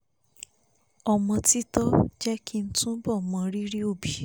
ọmọ títọ́ jẹ́ kí n túbọ̀ mọ rírì òbí